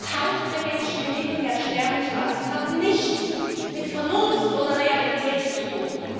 Tausende Menschen im Mittelmeer sterben zu lassen, hat nichts mit Vernunft oder Realität zu tun.